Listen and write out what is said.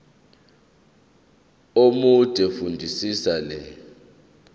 omude fundisisa le